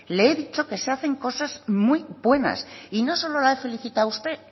le he dicho que se hacen cosas muy buenas y no solo la he felicitado a usted